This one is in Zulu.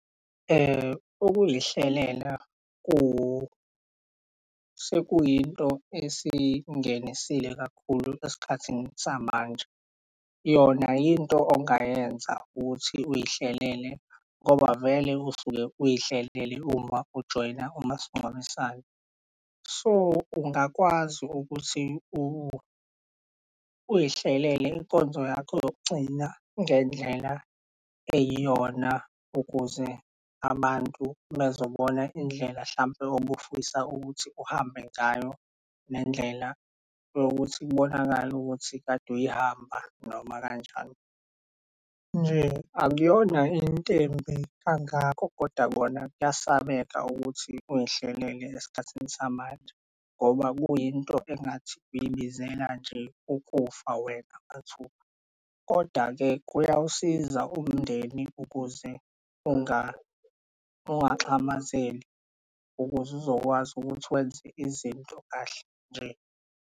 Ukuyihlelela sekuyinto esingenisile kakhulu esikhathini samanje. Yona yinto ongayenza ukuthi uyihlelele ngoba vele usuke uyihlelele uma ujoyina umasingcwabisane. So, ungakwazi ukuthi uyihlelele inkonzo yakho yokugcina ngendlela eyiyona ukuze abantu bezobona indlela hlampe obufisa ukuthi uhambe ngayo, nendlela yokuthi kubonakale ukuthi kade uyihamba noma kanjani. Nje akuyona int'embi kangako koda kona kuyasabeka ukuthi uyihlelele esikhathini samanje ngoba kuyinto engathi uyibizela nje ukufa wena mathupha, koda-ke kuyawusiza umndeni ungaxhamazeli ukuze uzokwazi ukuthi wenze izinto kahle nje.